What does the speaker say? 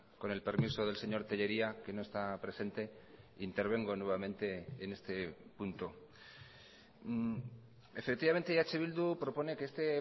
con el permiso del señor tellería que no está presente intervengo nuevamente en este punto efectivamente eh bildu propone que este